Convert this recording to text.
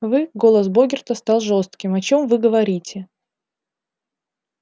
вы голос богерта стал жёстким о чем вы говорите